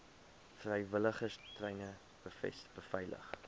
vrywilligers treine beveilig